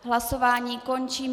Hlasování končím.